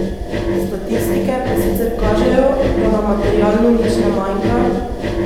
Statistike pa sicer kažejo, da nam materialno nič ne manjka.